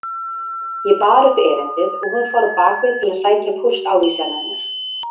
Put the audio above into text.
Ég bar upp erindið og hún fór bak við til að sækja póstávísanirnar.